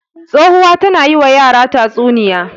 Tsohuwa tana yi wa yara tatsunniya.